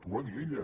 ho va dir ella